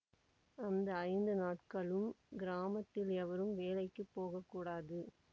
அந்த ஐந்து நாட்களும் கிராமத்தில் எவரும் வேலைக்கு போக கூடாது